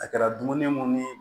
A kɛra dumuni mun ni